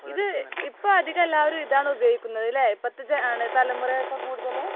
ഇത് ഇപ്പോൾ എല്ലാവരും അധികം ഇതാണ് ഉപയോഗിക്കുന്നത് അല്ലേ, ഇപ്പോഴത്തെ ജന, തലമുറയൊക്കെ കൂടുതൽ?